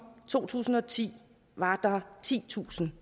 to tusind og ti var titusind